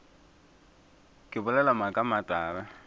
ke bolela maaka a matala